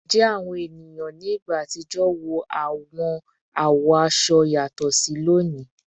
Njẹ awọn eniyan ni igba atijọ wo awọn awọ aṣọ aṣọ yatọ si loni?